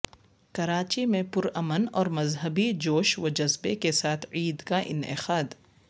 کراچی میں پرامن اور مذہبی جوش و جذبے کے ساتھ عید کا انعقاد